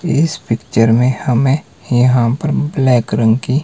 इस पिक्चर में हमें यहां पर ब्लैक रंग की--